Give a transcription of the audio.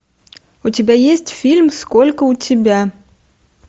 у тебя есть фильм сколько у тебя